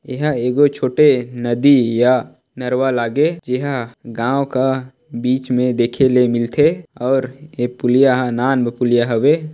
एहा एगो छोटे नदी एहा नर्वा लागे जेहा गाव का बीच मे देखे ले मिलथे और ए पुलिया हा नान अन पुलिया हवे ।